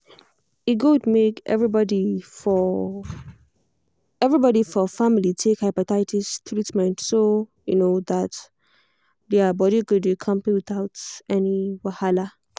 e good make everybody for everybody for family take hepatitis treatment so um that their body go dey kampe without any wahala.